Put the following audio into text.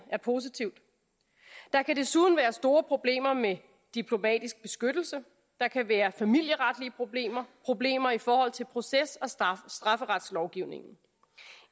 positivt der kan desuden være store problemer med diplomatisk beskyttelse der kan være familieretlige problemer problemer i forhold til proces og strafferetslovgivningen